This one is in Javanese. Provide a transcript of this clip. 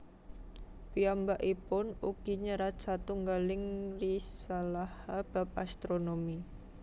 Piyambakipun ugi nyerat satunggaling risalaha bab astronomi